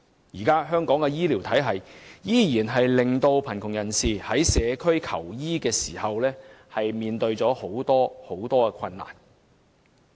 香港現行的醫療體系，依然令貧窮人士在社區求醫時面對重重困難。